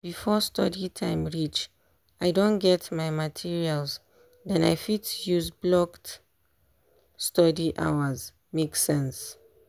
before study time reach i don get my materials den i fit use blocked study hours make sense